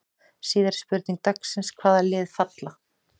Síðari spurning dagsins: Hvaða lið falla?